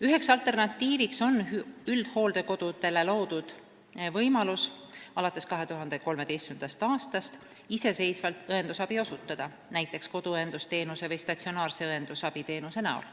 Üks alternatiiv on üldhooldekodudele alates 2013. aastast loodud võimalus osutada iseseisvalt õendusabi, näiteks koduõendusteenuse või statsionaarse õendusabiteenuse näol.